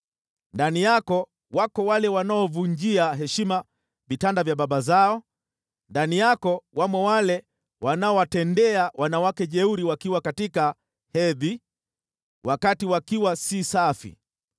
Ndani yako wako wale wanaovunjia heshima vitanda vya baba zao, ndani yako wamo wale wanaowatendea wanawake jeuri wakiwa katika hedhi, wakati wakiwa si safi.